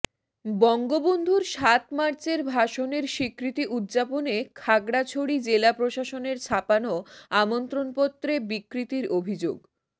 বঙ্গবন্ধুর সাত মার্চের ভাষণের স্বীকৃতি উদযাপনে খাগড়াছড়ি জেলা প্রশাসনের ছাপানো আমন্ত্রণপত্রে বিকৃতির অভিযোগ